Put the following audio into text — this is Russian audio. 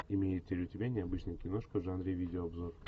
имеется ли у тебя необычная киношка в жанре видеообзор